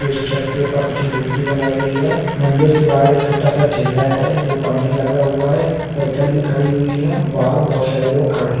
उस छत के ऊपर कुछ मूर्ति बनाई गई है मदिर के बाहर एक छोटा सा ठेला है जो पानी लगा हुआ है एक साइकिल भी खड़ी है बाहर बहुत सारे लोग खड़े हैं।